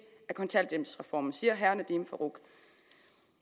af kontanthjælpsreformen siger herre nadeem farooq